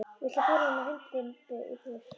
Viltu færa þennan hund þinn í burtu!